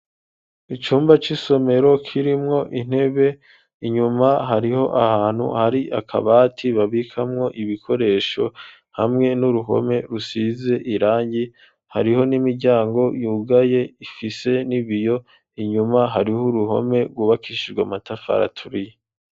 Icyumba cy'isomero kirimwo intebe, inyuma hariho ahantu hari akabati babikamwo ibikoresho hamwe n'uruhome rusize irangi. Hariho n'imiryango yugaye ifise n'ibiyo inyuma hariho uruhome gubakishijwe amatafari aturiye.